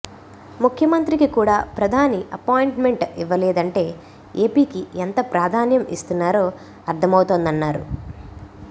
ముఖ్యమంత్రికి కూడా ప్రధాని అపాయింట్మెంట్ ఇవ్వలేదంటే ఏపీకి ఎంత ప్రాధాన్యం ఇస్తున్నారో అర్థమవుతోందన్నారు